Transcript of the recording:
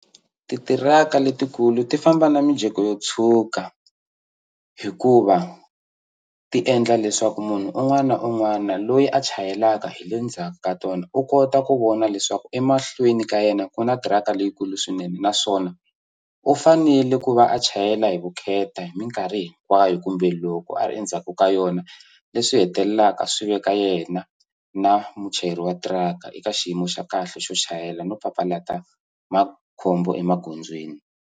Titiraka letikulu ti famba na mijeko yo tshwuka hikuva ti endla leswaku munhu un'wana na un'wana loyi a chayelaka hi le ndzhaku ka tona u kota ku vona leswaku emahlweni ka yena ku na thiraka leyikulu swinene naswona u fanele ku va a chayela hi vukheta hi minkarhi hinkwayo kumbe loko a ri endzhaku ka yona leswi hetelelaka swi veka yena na muchayeri wa tiraka eka xiyimo xa kahle xo chayela no papalata makhombo emagondzweni.